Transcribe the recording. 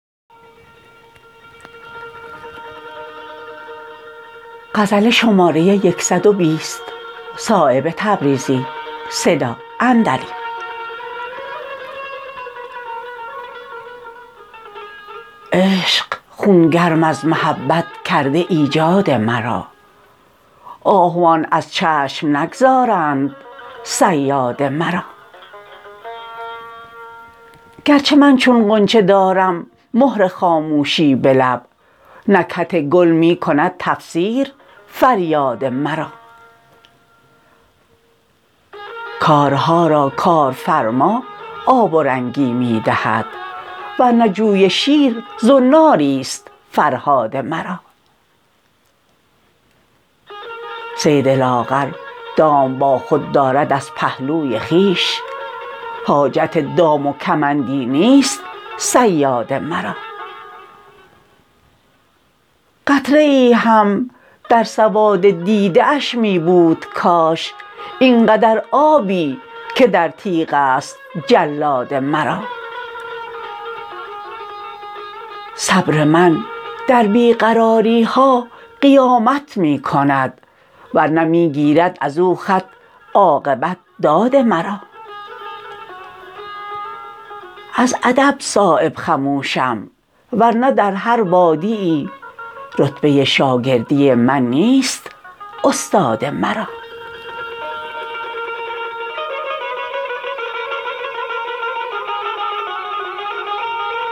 عشق خونگرم از محبت کرده ایجاد مرا آهوان از چشم نگذارند صیاد مرا گر چه من چون غنچه دارم مهر خاموشی به لب نکهت گل می کند تفسیر فریاد مرا کارها را کارفرما آب و رنگی می دهد ور نه جوی شیر زناری است فرهاد مرا صید لاغر دام با خود دارد از پهلوی خویش حاجت دام و کمندی نیست صیاد مرا قطره ای هم در سواد دیده اش می بود کاش اینقدر آبی که در تیغ است جلاد مرا صبر من در بی قراری ها قیامت می کند ورنه می گیرد ازو خط عاقبت داد مرا از ادب صایب خموشم ورنه در هر وادیی رتبه شاگردی من نیست استاد مرا